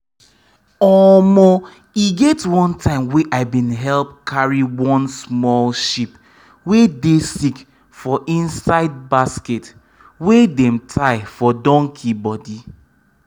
omo e get one time wey i bin help carry one small sheep wey dey sick for inside basket wey dem tie for donkey body